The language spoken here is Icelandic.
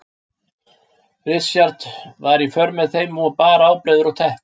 Richard var í för með þeim og bar ábreiður og teppi.